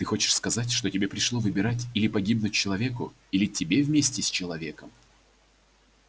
ты хочешь сказать что тебе пришло выбирать или погибнуть человеку или тебе вместе с человеком